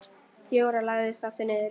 Jóra lagðist aftur niður.